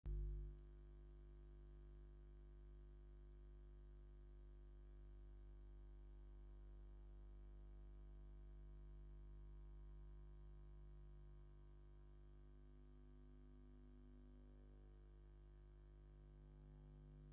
እዝኣ ጋል ኣንስተይቲ ኮይና ባህላዊ ቁኖ ተቆኒና ዝተፈላለዩ ባህላዊ መጋየፂ ገይራ ነፃላኣ እውን ሓደ ኢዳ ኣውፅኣ ክዳና እውን ፅብ ዝበለ እንትከውን ኣብ ኢዳኣ ሕዛቶ ዘለ ናይ ቡና መፍሊሕ እንታይ ይብሃል?